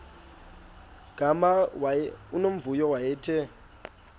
gama unomvuyo wayethe